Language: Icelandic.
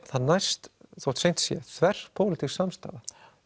það næst þótt seint sé þver pólitískt samstaða